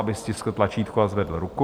Aby stiskl tlačítko a zvedl ruku.